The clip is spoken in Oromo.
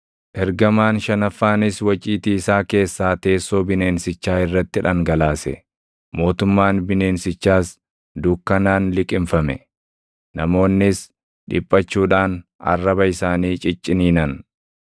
Ergamaan shanaffaanis waciitii isaa keessaa teessoo bineensichaa irratti dhangalaase; mootummaan bineensichaas dukkanaan liqimfame. Namoonnis dhiphachuudhaan arraba isaanii cicciniinan;